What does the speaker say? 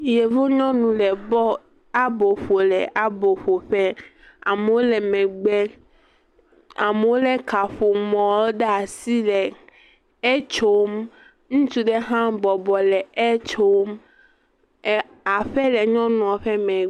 Yevunyɔnu le bɔl abo ƒom le abo ƒoƒe, amewo lé megbe, amewo lé kaƒomɔ ɖe asi le etsom, ŋutsui ɖe hã bɔbɔ le etsom, aƒe le nyɔnua ƒe megbe.